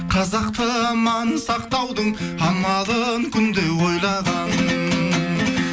қазақты аман сақтаудың амалын күнде ойлаған